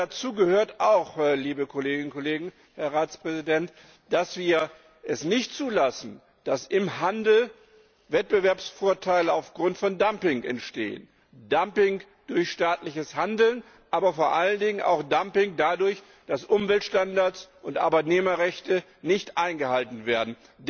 Und dazu gehört auch, liebe Kolleginnen und Kollegen, Herr Ratspräsident, dass wir es nicht zulassen, dass im Handel Wettbewerbsvorteile aufgrund von Dumping entstehen Dumping durch staatliches Handeln, aber vor allen Dingen auch Dumping dadurch, dass Umweltstandards und Arbeitnehmerrechte nicht eingehalten werden.